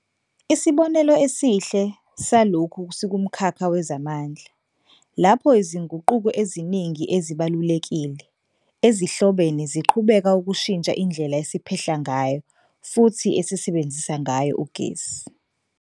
Isibonelo esihle salokhu sikumkhakha wezamandla, lapho izinguquko eziningi ezibalulekile, ezihlobene ziqhubeka ukushintsha indlela esiphehla ngayo futhi esisebenzisa ngayo ugesi.